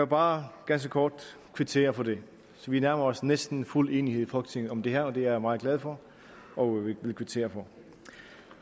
bare ganske kort kvittere for det så vi nærmer os næsten fuld enighed i folketinget om det her og det er jeg meget glad for og vil kvittere for